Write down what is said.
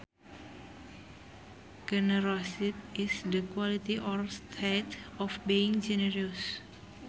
Generosity is the quality or state of being generous